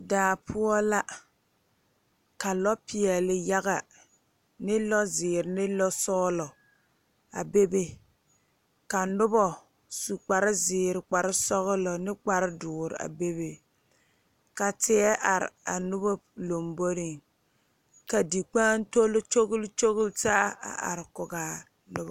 Daa poɔ la ka lɔ peɛle yaga ne lɔziiri ne lɔsɔglɔ a bebe ka ka noba su kpare ziiri kpare sɔglɔ ne kpare doɔre a bebe ka teɛ are a nobo lanboɔre ka dikpaotole kyɔle kyɔle taa a are kɔŋa nobo.